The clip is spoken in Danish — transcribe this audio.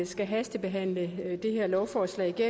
skal hastebehandle det her lovforslag det